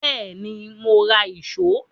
Bẹ́ẹ̀ni, mo ra ìṣó